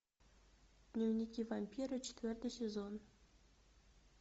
дневники вампира четвертый сезон